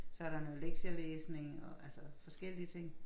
Så der noget lektielæsning og altå forskellige ting